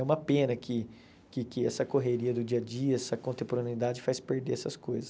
É uma pena que que que essa correria do dia a dia, essa contemporaneidade faz perder essas coisas.